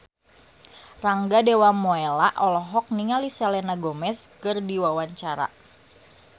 Rangga Dewamoela olohok ningali Selena Gomez keur diwawancara